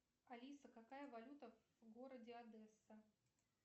алиса какая валюта в городе одесса